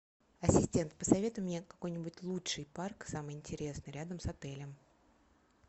ассистент посоветуй мне какой нибудь лучший парк самый интересный рядом с отелем